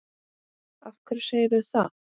Af hverju segirðu það?